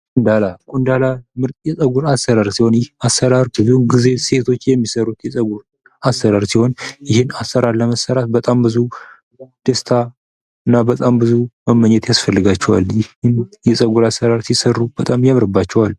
ቆንዳላ ቆንዳላ ምርጥ የጸጉር አሰራር ሲሆን ይህ አሰራር ብዙውን ጊዜ ሴቶች የሚሰሩት የጸጉር አሰራር ሲሆን ይህን አሰራር ለመሠራት ብዙ ደስታ እና በጣም ብዙ መመኘት ያስፈልጋቸዋል ይህ የጸጉር አሰራር ሲሰሩ በጣም ያምርባቸዋል።